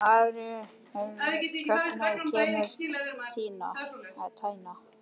Marri, hvenær kemur tían?